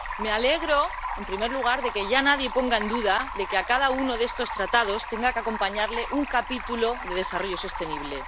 Me alegro, en primer lugar, de que ya nadie ponga en duda que a cada uno de estos tratados tenga que acompañarle un capítulo de desarrollo sostenible.